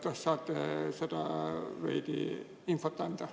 Kas saate seda infot veidi anda?